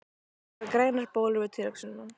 Ég fæ grænar bólur við tilhugsunina!